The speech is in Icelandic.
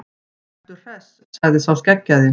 Veru Hress, sagði sá skeggjaði.